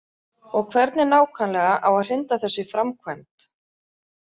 Og hvernig nákvæmlega á að hrinda þessu í framkvæmd?